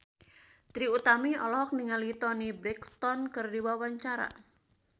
Trie Utami olohok ningali Toni Brexton keur diwawancara